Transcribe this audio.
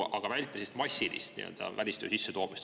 Aga vältida välistöö massilist sissetoomist.